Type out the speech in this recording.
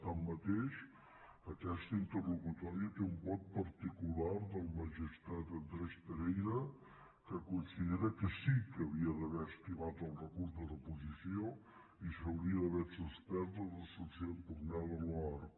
tanmateix aquesta interlocutòria té un vot particular del magistrat andrés pereira que considera que sí que havia d’haver estimat el recurs de reposició i s’hauria d’haver suspès la resolució impugnada per l’oarcc